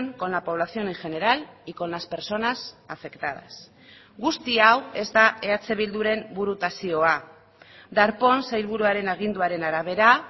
con la población en general y con las personas afectadas guzti hau ez da eh bilduren burutazioa darpón sailburuaren aginduaren arabera